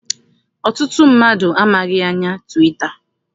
Ọtụtụ mmadụ amaghị anya twita.